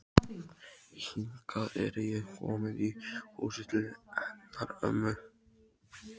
Hingað er ég komin í húsið til hennar ömmu.